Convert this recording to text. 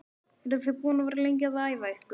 Eru þið búin að vera lengi að æfa ykkur?